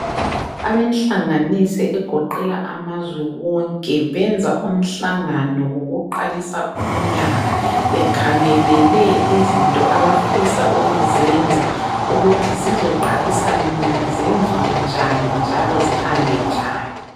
Abenhlanganiso egoqela amazwe wonke benza umhlangano wokuqalisa umnyaka bekhangelele izinto abafisa ukuzenza ukuthi zizoqalisa nini, zenziwe njani njalo zihambe njani.